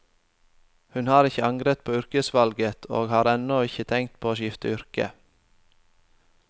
Hun har ikke angret på yrkesvalget, og har ennå ikke tenkt på å skifte yrke.